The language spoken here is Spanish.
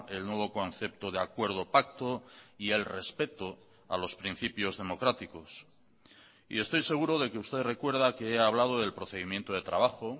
el nuevo concepto de acuerdo pacto y el respeto a los principios democráticos y estoy seguro de que usted recuerda que he hablado del procedimiento de trabajo